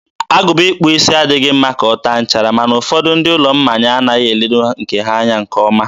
agụba ịkpụ isi adịghị mma ka ọ taa nchara, ma na ụfọdụ ndị ụlọ mmanya anaghị eledo nke ha anya nke ọma.